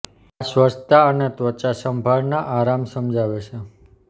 આ સ્વચ્છતા અને ત્વચા સંભાળ ના આરામ સમજાવે છે